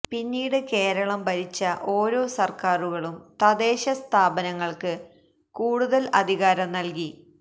പിന്നീട് കേരളം ഭരിച്ച ഓരോ സര്ക്കാറുകളും തദ്ദേശ സ്ഥാപനങ്ങള്ക്ക് കൂടുതല് അധികാരം നല്കി